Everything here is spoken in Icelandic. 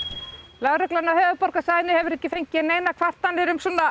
lögreglan á höfuðborgarsvæðinu hefur ekki fengið neinar kvartanir um svona